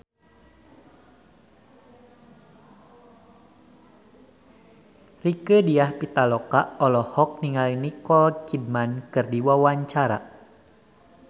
Rieke Diah Pitaloka olohok ningali Nicole Kidman keur diwawancara